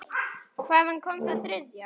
Hvaðan kom það þriðja?